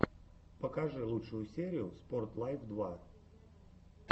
покажи лучшую серию спорт лайф два